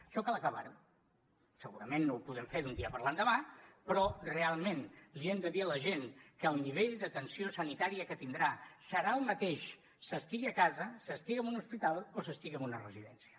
això cal acabar ho segurament no ho podem fer d’un dia per l’endemà però realment li hem de dir a la gent que el nivell d’atenció sanitària que tindrà serà el mateix s’estigui a casa s’estigui en un hospital o s’estigui en una residència